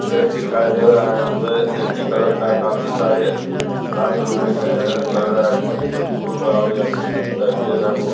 खेत दिखाई दे रहा है जिसमें एक ही कलर का काफी सारे गाछ रोपे गए हैं लग रहा हैं जेसे कोई फुल का हो या कोई चीज का पेड़ हैं वो|